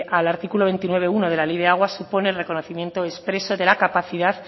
al artículo veintinueve punto uno de la ley de aguas supone el reconocimiento expreso de la capacidad